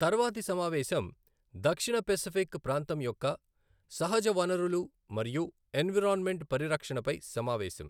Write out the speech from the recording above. తర్వాతి సమావేశం దక్షిణ పసిఫిక్ ప్రాంతం యొక్క సహజ వనరులు మరియు ఎన్విరాన్మెంట్ పరిరక్షణఫై సమావేశం.